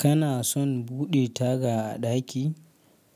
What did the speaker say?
Kana son buɗe taga a ɗaki?